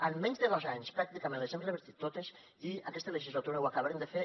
en menys de dos anys pràcticament les hem revertit totes i en aquesta legislatura ho acabarem de fer